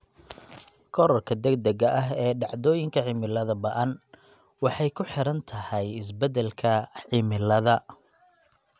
Korodhka degdega ah ee dhacdooyinka cimilada ba'an waxay ku xidhan tahay isbedelka cimilada.